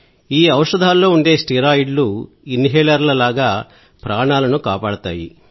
ఈ ఔషధాల్లో ఉండే స్టెరాయిడ్లు ఇన్హేలర్ల లాగా ప్రాణాలను కాపాడతాయి